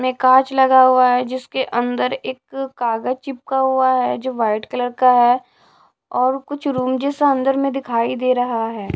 में कांच लगा हुआ है जिसके अंदर एक कागज चिपका हुआ है जो वाइट कलर का है और कुछ रूम जैसा अंदर में दिखाई दे रहा है।